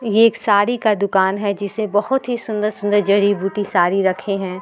ये एक साडी का दूकान है जिसे बहोत ही सुन्दर-सुन्दर जड़ी-बूटी साड़ी रखे हैं।